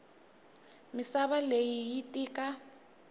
misava leyi yi tika